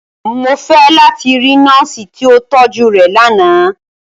Mo fẹ lati ri Nọọsi ti o tọju rẹ làná!